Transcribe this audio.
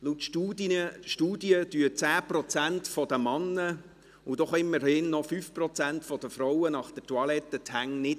Laut Studien waschen 10 Prozent der Männer, und immerhin noch 5 Prozent der Frauen, nach dem Toilettengang die Hände nicht.